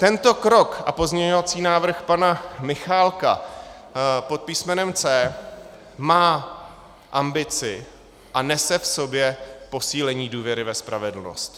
Tento krok a pozměňovací návrh pana Michálka pod písmenem C má ambici a nese v sobě posílení důvěry ve spravedlnost.